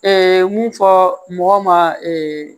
mun fɔ mɔgɔ ma